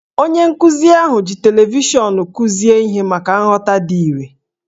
Onye nkụzi ahụ ji televishọnụ kụzie ihe maka nghọta dị irè